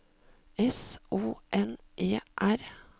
S O N E R